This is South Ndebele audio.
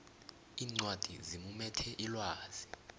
iincwadi zimumethe ilwazi